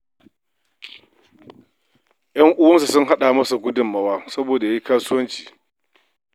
‘Yan uwansa sun haɗa masa gudunmawa saboda ya yi kasuwanci.